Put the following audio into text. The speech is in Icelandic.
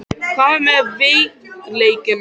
Hvað með veikleikana?